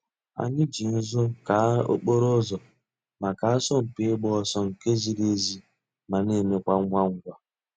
Ànyị̀ jì nzù káa òkpòrò̩ ǔzọ̀ mǎká àsọ̀mpị̀ ị̀gba òsọ̀ nke zìrì èzí ma na emekwa ngwa ngwa.